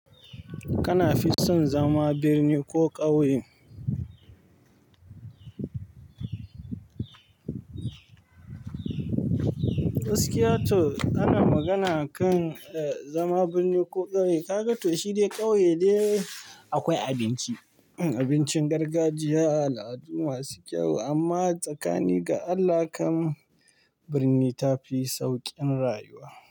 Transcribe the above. Kana fison zama birni ko ƙauye? Gaskiya to ana magana kan zama birni ko ƙauye. Kaga to shi dai ƙauye de akwai abinci, abincin gargajiya al'adu masu kyau amma tsakani ga Allah kam birni ta fi sauƙin rayuwa.